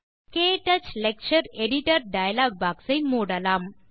க்டச் lecture editor dialog box ஐ மூடலாம்